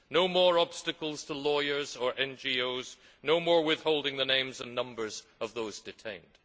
No more obstacles to lawyers or NGOs, no more withholding the names and numbers of those detained.